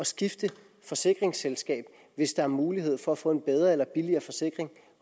skifte forsikringsselskab hvis der er mulighed for at få en bedre eller billigere forsikring